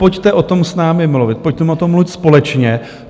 Pojďte o tom s námi mluvit, pojďme o tom mluvit společně.